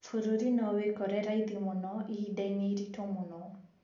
Bũrũri no wekore raithi mũno ihinda-inĩ iritũ mũno,